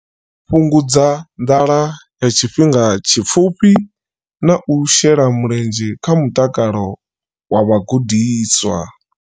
Fhungudza nḓala ya tshifhinga tshipfufhi na u shela mulenzhe kha mutakalo wa vhagudiswa.